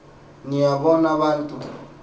niya bona bantu